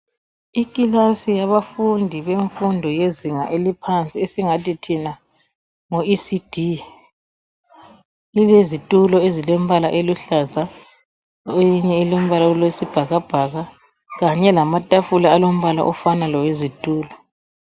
Ikilasi yabafundi bemfundo yezinga eliphansi esingathi thina ngo ECD, ilezitulo ezilembala oluhlaza ,eyinye ilombala wesibhakabhaka kanye lamatafula alombala ofana lowezitulo.